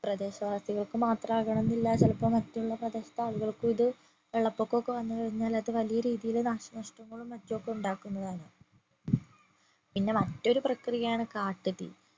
പ്രദേശവാസികൾക്ക് മാത്രമാകണെന്നില്ല ചിലപ്പോ മറ്റുള്ള പ്രദേശത്തെ ആളുകൾക്കു ഇത് വെള്ളപൊക്കൊക്കെ വന്നുകഴിഞ്ഞാൽ അത് വലിയ രീതിയില് നാശനഷ്ടങ്ങളും മറ്റും ഒക്കെ ഉണ്ടാക്കുന്നതാണ് പിന്നെ മറ്റൊരു പ്രക്രിയ ആണ് കാട്ടു തീ